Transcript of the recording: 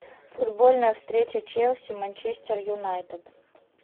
футбольная встреча челси манчестер юнайтед